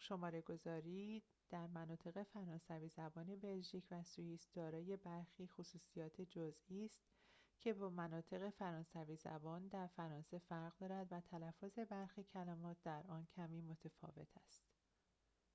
شماره‌گذاری در مناطق فرانسوی زبان بلژیک و سوئیس دارای برخی خصوصیات جزئی است که با مناطق فرانسوی زبان در فرانسه فرق دارد و تلفظ برخی کلمات در آن کمی ‌متفاوت است